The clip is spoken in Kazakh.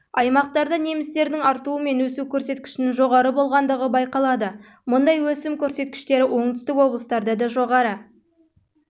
аймақтарда немістердің артуы мен өсу көрсеткішінің жоғары болғандығы байқалады мұндай өсім көрсеткіштері оңтүстік облыстарда да жоғары